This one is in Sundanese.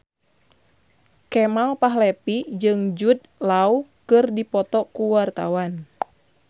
Kemal Palevi jeung Jude Law keur dipoto ku wartawan